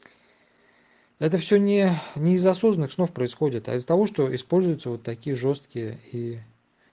это все не незаслуженных снов происходит из-за того что используется вот такие жёсткие и